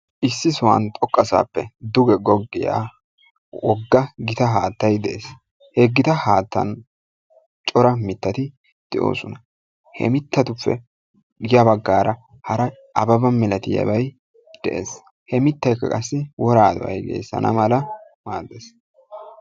issi sohuwaan xooqqasappe duge googiyaa wogga gita haattay de'ees. he gita haattan cora mittati de'oosona. he mittatu ya baggaara hara ababa milatiyaabay de'ees. he mittaykka qaasi woraa do'ay geessana mala maaddees.